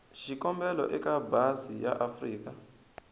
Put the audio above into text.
xikombelo eka embasi ya afrika